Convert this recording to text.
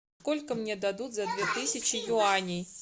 сколько мне дадут за две тысячи юаней